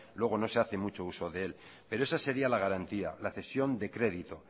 luego no se hace mucho uso de él pero esa sería la garantía la cesión de crédito